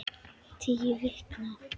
Tíu vikna